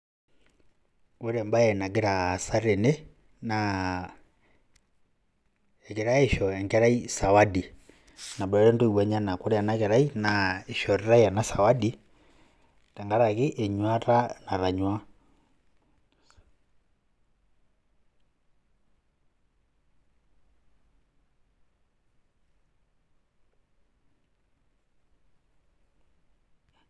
Ore embaye nagira aasa tene naa egirai aisho enkerai sawadi naboitare intoiwuo enyenak ore ena keari naa kishoritai ena sawadi tenkariki enyuaata natainyuaa.